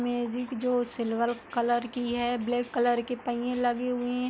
Magic जो silver colour की है ब्लैक कलर के पइए लगे हुए ऐं।